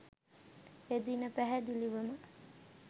එදින පැහැදිලිවම